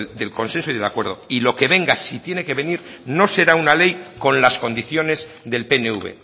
del consenso y del acuerdo y lo que venga si tiene que venir no será una ley con las condiciones del pnv